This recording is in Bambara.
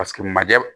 Paseke manjɛ